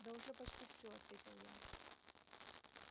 да уже почти всё ответил я